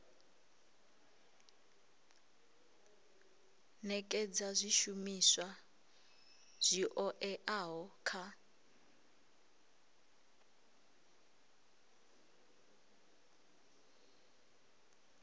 nekedza zwishumiswa zwi oeaho kha